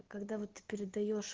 когда вот ты передаёшь